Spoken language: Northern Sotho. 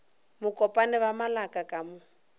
mokopane ba malaka ka mo